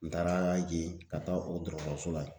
N taara yen ka taa o dɔgɔtɔrɔso la yen